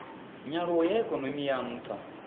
nyaluwo ya ikonomi ya ntha